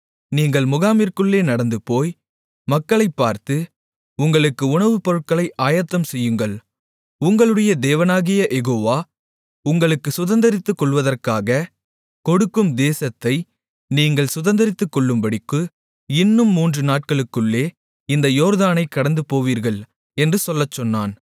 நீங்கள் முகாமிற்குள்ளே நடந்துபோய் மக்களைப் பார்த்து உங்களுக்கு உணவுப் பொருட்களை ஆயத்தம் செய்யுங்கள் உங்களுடைய தேவனாகிய யெகோவா உங்களுக்குச் சுதந்தரித்துக்கொள்வதற்காகக் கொடுக்கும் தேசத்தை நீங்கள் சுதந்தரித்துக்கொள்ளும்படிக்கு இன்னும் மூன்றுநாட்களுக்குள்ளே இந்த யோர்தானைக் கடந்துபோவீர்கள் என்று சொல்லச்சொன்னான்